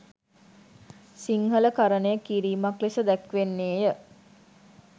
සිංහල කරණය කිරීමක් ලෙස දැක්වෙන්නේ ය.